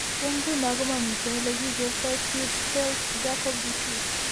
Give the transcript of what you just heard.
Eng' ng'uno ko mamiteen ole kikerto Creutzfeldt Jakob disease